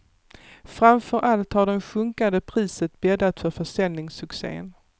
Framför allt har det sjunkande priset bäddat för försäljningssuccen.